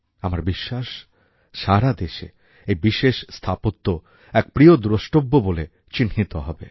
আমার বিশ্বাস সারা দেশে এই বিশেষ স্থাপত্য এক প্রিয় দ্রষ্টব্য বলে চিহ্নিত হবে